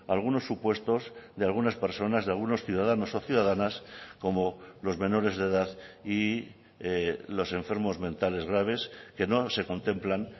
algunos supuestos de algunas personas de algunos ciudadanos o ciudadanas como los menores de edad y los enfermos mentales graves que no se contemplan